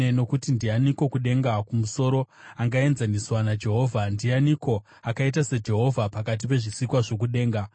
Nokuti ndianiko kudenga kumusoro angaenzaniswa naJehovha? Ndianiko akaita saJehovha pakati pezvisikwa zvokudenga?